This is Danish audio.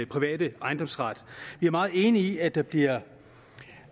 private ejendomsret vi er meget enige i at der bliver